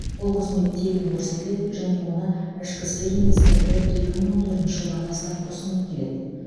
бұл қызмет тегін көрсетіледі және оны ішкі істер министрлігі екі мың он төртінші жылдан бастап ұсынып келеді